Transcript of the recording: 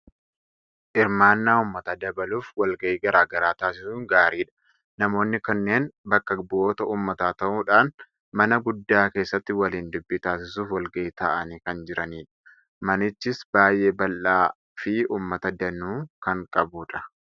Hirmaannaa uummataa dabaluuf wal ga'ii garaa garaa taasisuun gaariidha. Namoonni kunneen bakka bu'oota uummataa ta'uudhaan mana guddaa keessatti waliin dubbii taasisuuf wal ga'ii taa'anii kan jiranidha. Manichis baay'ee bal'aa fi uummata danuu kan qabudha.